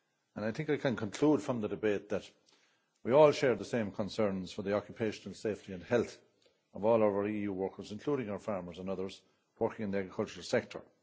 I think I can conclude from the debate that we all share the same concerns for the occupational safety and health of all our EU workers, including our farmers and others working in the agricultural sector.